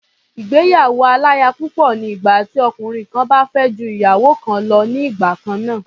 Ìgbéyàwó-aláya-púpọ̀ ni ìgbà tí ọkùnrin kan bá fẹ́ ju ìyàwó kan lọ ní igbà kan náà.